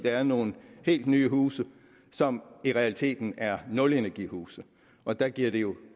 er nogle helt nye huse som i realiteten er nulenergihuse og der giver det jo